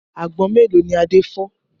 Àgbọn mélòó ni Adé fọ́?